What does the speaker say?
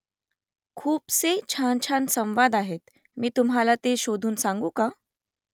खूपसे छानछान संवाद आहेत . मी तुम्हाला ते शोधून सांगू का ?